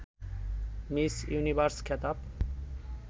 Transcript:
miss Universe খেতাব